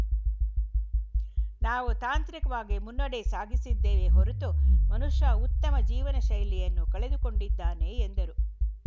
ನಾವು ತಾಂತ್ರಿಕವಾಗಿ ಮುನ್ನಡೆ ಸಾಸಿದ್ದೇವೆ ಹೊರತು ಮನುಷ್ಯ ಉತ್ತಮ ಜೀವನ ಶೈಲಿಯನ್ನು ಕಳೆದುಕೊಂಡಿದ್ದಾನೆ ಎಂದರು